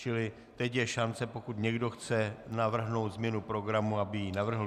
Čili teď je šance, pokud někdo chce navrhnout změnu programu, aby ji navrhl.